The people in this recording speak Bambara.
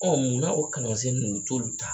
Ɔ munna o kalansen ninnu u t'olu ta